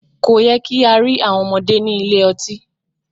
Kò yẹ kí á rí àwọn ọmọdé ní ilé ọtí.